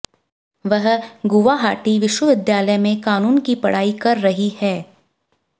वह गुवाहाटी विश्वविद्यालय में कानून की पढ़ाई कर रही है